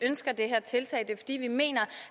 ønsker det her tiltag det er fordi vi mener